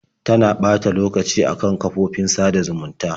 Tana ɓata lokacin a kan kafofofin sada zumunta.